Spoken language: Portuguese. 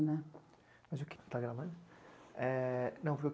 Né.